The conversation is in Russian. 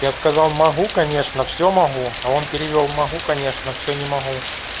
я сказал могу конечно все могу а он перевёл могу конечно все не могу